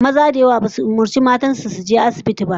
Maza da yawa basu umurci matan su su je asibitin ba